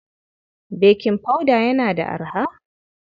Baking powder yana da arha?